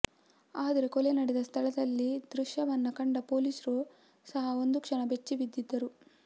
ಆದ್ರೆ ಕೊಲೆ ನಡೆದ ಸ್ಥಳದಲ್ಲಿ ದೃಶ್ಯವನ್ನ ಕಂಡ ಪೊಲೀಸ್ರು ಸಹ ಒಂದು ಕ್ಷಣ ಬೆಚ್ವಿ ಬಿದ್ದಿದ್ದರು